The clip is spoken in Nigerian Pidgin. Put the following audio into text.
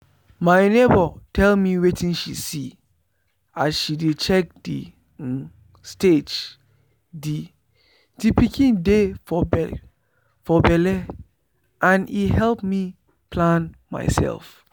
my neighbour tell me wetin she see as she dey check the um stage the the pikin dey for belle and e help me plan myself.